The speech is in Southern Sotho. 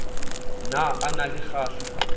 ne a na le kgahla